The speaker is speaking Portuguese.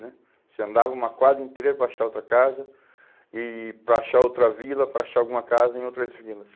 né, você andava uma quadra inteira para achar outra casa, e e para achar outra vila, para achar alguma casa em outras vilas.